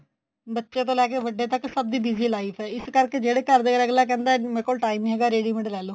ਬੱਚੇ ਤੋਂ ਲੈ ਕੇ ਵੱਡੇ ਤੱਕ ਸਭ ਦੀ busy life ਏ ਈਸ ਕਰਕੇ ਜਿਹੜੇ ਘਰਦੇ ਅਗਲਾ ਕਹਿੰਦਾ ਮੇਰੇ ਕੋਲ time ਨੀਂ ਹੈਗਾ ready made ਲੈਲੋ